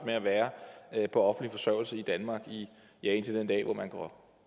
med at være på offentlig forsørgelse i danmark i ja indtil den dag hvor man går